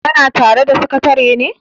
kana tare da sakatare ne?